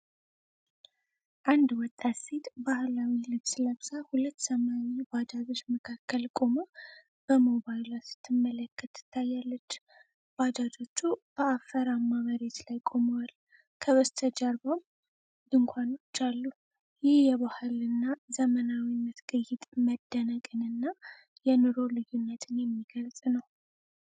አንድ ወጣት ሴት ባህላዊ ልብስ ለብሳ፣ ሁለት ሰማያዊ ባጃጆች መካከል ቆማ በሞባይሏ ስትመለከት ትታያለች። ባጃጆቹ በአፈራማ መሬት ላይ ቆመዋል፤ ከበስተጀርባም ድንኳኖች አሉ። ይህ የባህልና ዘመናዊነት ቅይጥ መደነቅን እና የኑሮ ልዩነትን የሚገፅ ነው።